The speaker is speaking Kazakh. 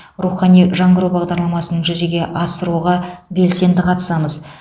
рухани жаңғыру бағдарламасын жүзеге асыруға белсенді қатысамыз